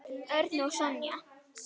Örn og Sonja.